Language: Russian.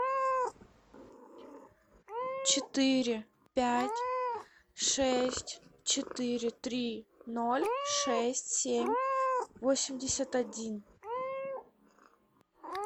четыре пять шесть четыре три ноль шесть семь восемьдесят один